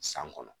San kɔnɔ